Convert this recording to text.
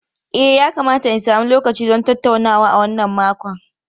E, yakamata in sami lokaci don tattaunawa a wannan makon.